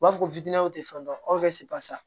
U b'a fɔ ko tɛ fɛn dɔn aw sɛ basa